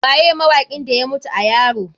Waye mawakin da ya mutu a yaro?